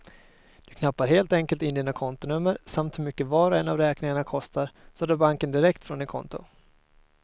Du knappar helt enkelt in dina kontonummer samt hur mycket var och en av räkningarna kostar, så drar banken direkt från ditt konto.